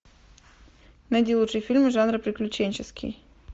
найди лучшие фильмы жанра приключенческий